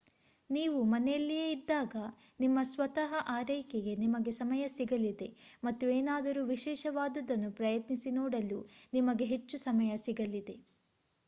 ನೀವು ಮನೆಯಲ್ಲಿಯೇ ಇದ್ದಾಗ ನಿಮ್ಮ ಸ್ವತಃ ಆರೈಕೆಗೆ ನಿಮಗೆ ಸಮಯ ಸಿಗಲಿದೆ ಮತ್ತು ಏನಾದರೂ ವಿಶೇಷವಾದುದನ್ನು ಪ್ರಯತ್ನಿಸಿ ನೋಡಲು ನಿಮಗೆ ಹೆಚ್ಚು ಸಮಯ ಸಿಗಲಿದೆ